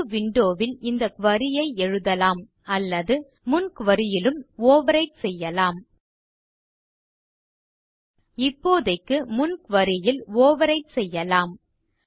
புது விண்டோ ல் இந்த குரி ஐ எழுதலாம் அல்லது முன் குரி யிலும் ஓவர்விரைட் செய்யலாம் இப்போதைக்கு முன் குரி ல் ஓவர்விரைட் செய்யலாம்